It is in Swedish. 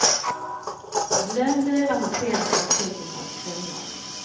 Glöm dyra hotellrum för tusentals kronor.